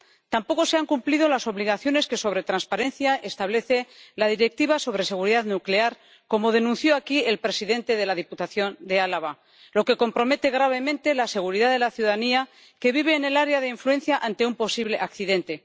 Tampoco se han cumplido las obligaciones que sobre transparencia establece la Directiva sobre seguridad nuclear, como denunció aquí el presidente de la Diputación de Álava, lo que compromete gravemente la seguridad de la ciudadanía que vive en el área de influencia ante un posible accidente.